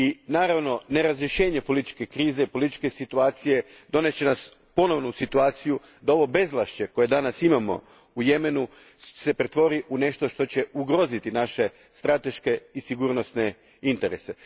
Naravno, nerazriješene političke krize, političke situacije, dovest će nas ponovno u situaciju da se ovo bezvlašće koje danas imamo u Jemenu pretvori u nešto što će ugroziti naše strateške i sigurnosne interese.